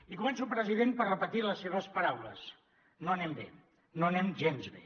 i començo president per repetir les seves paraules no anem bé no anem gens bé